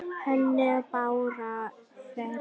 Henni brá hvergi.